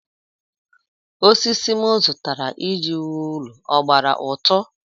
Osisi m zụtara iji wuo ụlọ ọ gbara ụtụ?